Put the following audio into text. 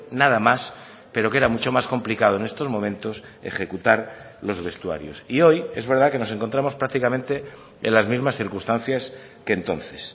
nada más pero que era mucho más complicado en estos momentos ejecutar los vestuarios y hoy es verdad que nos encontramos prácticamente en las mismas circunstancias que entonces